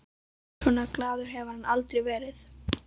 Svona glaður hafði hann aldrei verið.